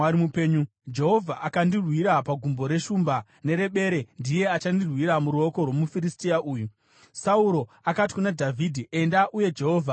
Jehovha akandirwira pagumbo reshumba nerebere, ndiye achandirwira muruoko rwomuFiristia uyu.” Sauro akati kuna Dhavhidhi, “Enda, uye Jehovha ave newe.”